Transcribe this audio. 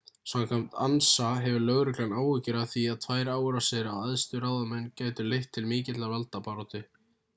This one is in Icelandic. samkvæmt ansa hefur lögreglan áhyggjur af því að tvær árásir á æðstu ráðamenn gætu leitt til mikillar valdabaráttu